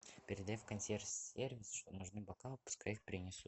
передай в консьерж сервис что нужны бокалы пускай их принесут